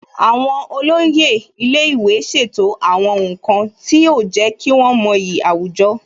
Àwọn olóyè ilé ìwé ṣètò àwọn nǹkan tí yóò jẹ́ kí wọ́n mọyì àwùjọ